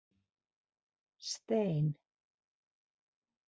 Stein